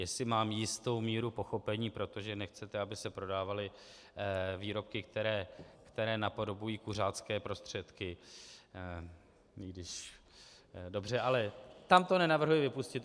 Jestli mám jistou míru pochopení, protože nechcete, aby se prodávaly výrobky, které napodobují kuřácké prostředky, dobře, ale tam to nenavrhuji vypustit.